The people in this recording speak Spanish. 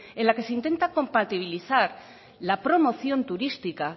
en la que se intenta compatibilizar la promoción turística